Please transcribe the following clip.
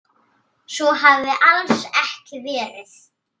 Svo hafi alls ekki verið.